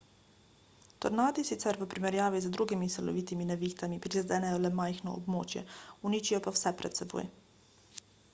tornadi sicer v primerjavi z drugimi silovitimi nevihtami prizadenejo le majhno območje uničijo pa vse pred seboj